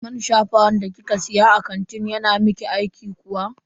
Man shafawan da kika siya a kantin yana miki aiki kuwa?